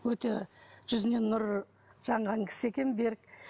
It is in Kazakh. өте жүзінен нұр жанған кісі екен берік